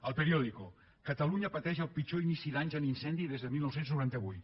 el periódico catalunya pateix el pitjor inici d’any en incendis des de dinou noranta vuit